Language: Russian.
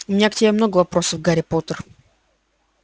у меня к тебе много вопросов гарри поттер